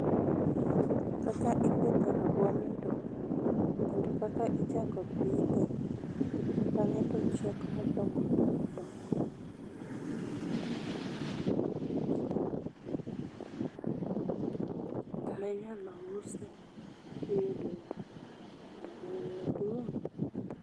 Kaka ipidho rabuon mondo, kendo kaka ichako pidhe bange tochiek madongo dongo dongo minyalo use tiyudo omuom maduong